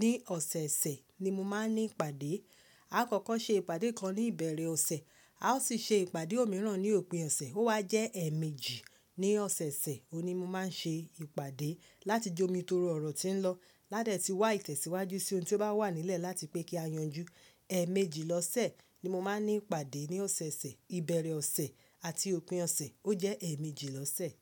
Ní ọ̀sẹ̀ẹ̀sẹ̀ ni mo máa ń ní ìpàdé. A kọ́kọ́ ṣe ìpàdé kan ní ìbẹ̀rẹ̀ ọ̀sẹ̀, a ó sì ṣe ìpàdé òmíràn ní òpin ọ̀sẹ̀. Ó wá jẹ́ ẹ̀ẹ̀mejì ní ọ̀sẹ̀ẹ̀sẹ̀, òní mo máa ń ṣe ìpàdé láti jomitoro ọ̀rọ̀ tí ń lọ. Lá dẹ̀ ti wá ìtẹ̀síwájú sí ohun tí ó bá wà nílẹ̀ láti pé kí a yanjú. Ẹ̀ẹ̀mejì lọ́sẹ̀ ni mo máa ń ní ìpàdé ní ọ̀sẹ̀ẹ̀sẹ̀. Ìbẹ̀rẹ̀ ọ̀sẹ̀ àti òpin ọ̀sẹ̀ ó jẹ́ ẹ̀ẹ̀mejì lọ́sẹ̀.